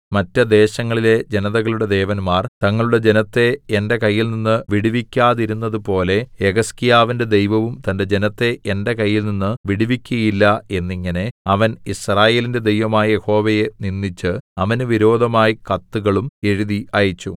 മറ്റു ദേശങ്ങളിലെ ജനതകളുടെ ദേവന്മാർ തങ്ങളുടെ ജനത്തെ എന്റെ കയ്യിൽനിന്ന് വിടുവിക്കാതിരുന്നതുപോലെ യെഹിസ്കീയാവിന്റെ ദൈവവും തന്റെ ജനത്തെ എന്റെ കയ്യിൽനിന്ന് വിടുവിക്കയില്ല എന്നിങ്ങനെ അവൻ യിസ്രായേലിന്റെ ദൈവമായ യഹോവയെ നിന്ദിച്ച് അവന് വിരോധമായി കത്തുകളും എഴുതി അയച്ചു